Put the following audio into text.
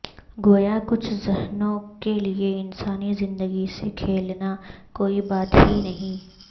گویا کچھ ذہنوں کے لئے انسانی زندگی سے کھیلنا کوئی بات ہی نہیں